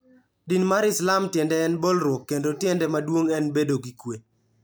Din mar Islam tiende en bolruok kendo tiende maduong' en bedo gi kuwe.